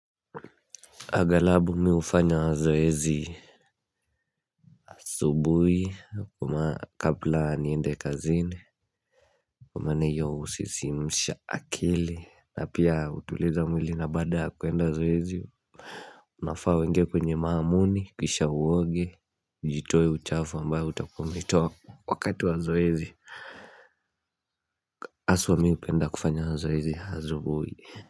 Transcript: Aghalabu mi hufanya mazoezi asubuhi kabla niende kazini Kwa maana hiyo husisimusha akili na pia hutuliza mwili na baada kuenda zoezi Unafaa uingie kwenye maamuni kisha uoge ujitoe uchafu ambayo utakuwa umetoa wakati wa zoezi haswa mi hupenda kufanya mazoezi asubuhi.